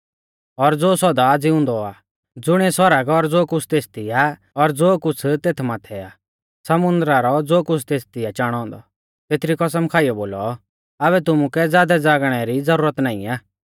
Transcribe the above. और ज़ो सौदा ज़िउंदौ आ ज़ुणिऐ सौरग और ज़ो कुछ़ तेथदी आ धौतर और ज़ो कुछ़ तेथ माथै आ समुन्दरा ज़ो कुछ़ तेथदी आ चाणौ औन्दौ तेथरी कसम खाइयौ बोलौ आबै तुमुकै ज़ादै ज़ागणै री ज़ुरत नाईं आ